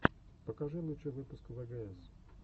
покажи лучший выпуск вгс